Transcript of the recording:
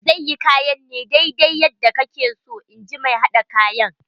Za yi kayan ne daidai yadda kake so in ji mai haɗa kayan.